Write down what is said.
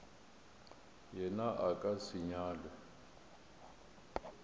yena a ka se nyalwe